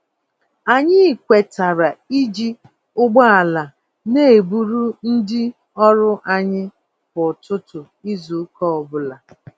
Anyị kwetara iji ụgbọala n'eburu ndị ọrụ anyị kwá ụtụtụ izu ụka ọbula